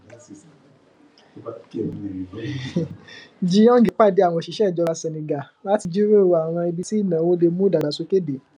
jinyong pàdé àwọn òṣìṣẹ ìjọba senegal láti jíròrò àwọn ibi tí ìnáwó lè mú ìdàgbàsókè dé